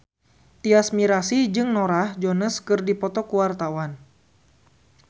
Tyas Mirasih jeung Norah Jones keur dipoto ku wartawan